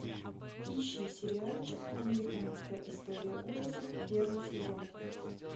ищи сериальчик американская история ужасов первый сезон